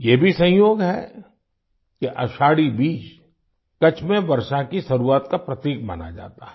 ये भी संयोग है कि आषाढ़ी बीज कच्छ में वर्षा की शुरुआत का प्रतीक माना जाता है